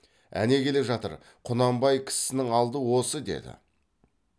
әне келе жатыр құнанбай кісісінің алды осы деді